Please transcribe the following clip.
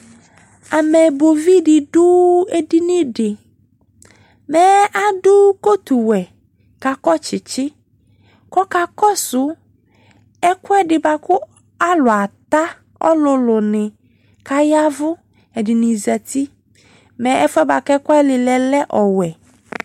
Amɛbɔ vi de do edini de Mɛɛ ado kotuwɛ ko akɔ tsetse kɔka kɔso ɛkuɛde boako alu ata ɔlulu ne ka yavu, ɛdene zati Mɛ ɛfuɛ boako ɛku wane lɛɛ lɛ ɔwɛ